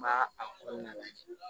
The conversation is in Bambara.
N b'a a kɔnɔna la